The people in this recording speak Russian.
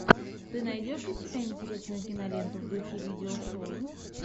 ты найдешь у себя интересную киноленту в духе видео шоу